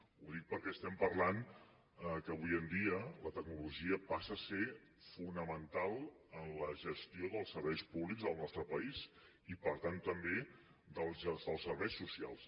ho dic perquè estem parlant que avui en dia la tecnologia passa a ser fonamental en la gestió dels serveis públics del nostre país i per tant també dels serveis socials